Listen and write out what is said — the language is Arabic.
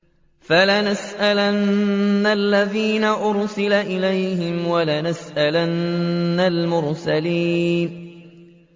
فَلَنَسْأَلَنَّ الَّذِينَ أُرْسِلَ إِلَيْهِمْ وَلَنَسْأَلَنَّ الْمُرْسَلِينَ